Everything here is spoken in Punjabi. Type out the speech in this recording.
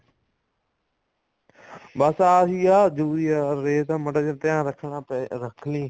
ਬੱਸ ਆਹੀ ਆ urea ਰੇਹ ਤਾਂ ਮਾੜਾ ਜਾ ਧਿਆਨ ਰੱਖਣਾ ਪਏਗਾ ਰੱਖ ਲਈ